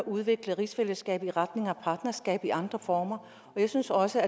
udvikle rigsfællesskabet i retning af et partnerskab i andre former jeg synes også